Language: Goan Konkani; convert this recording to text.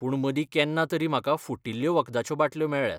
पूण मदीं केन्ना तरी म्हाका फुटिल्ल्यो वखदाच्यो बाटल्यो मेळ्ळ्यात.